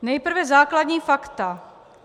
Nejprve základní fakta.